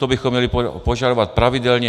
To bychom měli požadovat pravidelně.